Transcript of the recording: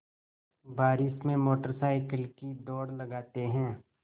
बारिश में motorcycle की दौड़ लगाते हैं